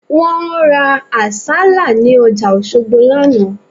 Wọ́n ra àsálà ní ọjà Òṣogbo lánàá